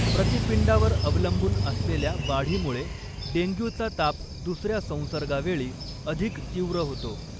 प्रतिपिंडावर अवलंबून असलेल्या वाढीमुळे डेंग्यूचा ताप दुसऱ्या संसर्गावेळी अधिक तीव्र होतो.